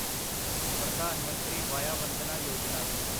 Pradhan Mantri Vaya Vandana Yojana